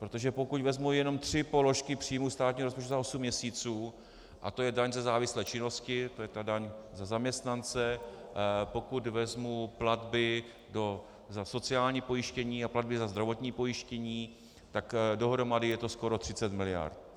Protože pokud vezmu jenom tři položky příjmů státního rozpočtu za osm měsíců a to je daň ze závislé činnosti, to je ta daň za zaměstnance, pokud vezmu platby za sociální pojištění a platby za zdravotní pojištění, tak dohromady je to skoro 30 mld.